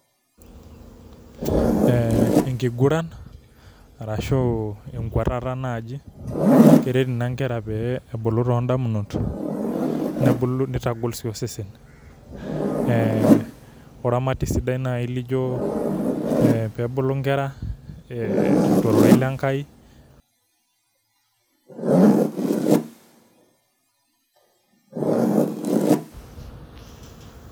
Ee enkiguran ashu enkuatata naji, keret nai nkera pee ebulu tondamunot nebulu, nitagol si osesen ,ee ore oramati sidai lijo ee pebulu nkera tororei lenkai[break].